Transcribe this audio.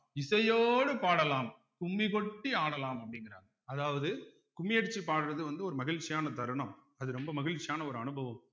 இசையோடு பாடலாம் கும்மி கொட்டி ஆடலாம் அப்படிங்கிறாங்க அதாவது குமியடிச்சி பாடுறது வந்து ஒரு மகிழ்ச்சியான தருணம் அது ரொம்ப மகிழ்ச்சியான ஒரு அனுபவம்